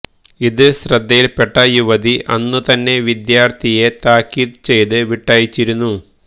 ഇത് ശ്രദ്ധയിൽപ്പെട്ട യുവതി അന്നുതന്നെ വിദ്യാർത്ഥിയെ താക്കീത് ചെയ്ത് വിട്ടയച്ചിരുന്നു